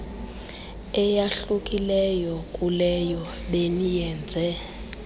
eyahlukileyo kuleyo beniyenze